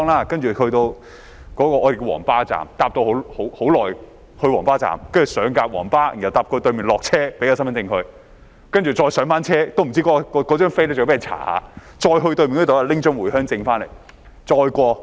"接着乘車很久才抵達我們稱為"皇巴站"的地方，上了"皇巴"後搭到對面下車，檢查身份證，然後再上車——我也不知道是否需要檢查車票——再到對面查驗回鄉證過關。